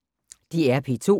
DR P2